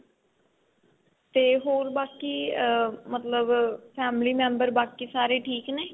ਤੇ ਹੋਰ ਬਾਕੀ ah ਮਤਲਬ family member ਬਾਕੀ ਸਾਰੇ ਠੀਕ ਨੇ